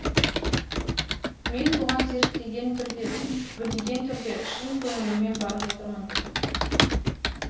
мен бұған зерттеген түрде білген түрде шын көңіліммен барып отырмын